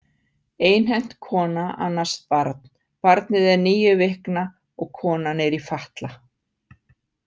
Einhent kona annast barn Barnið er níu vikna og konan er í fatla.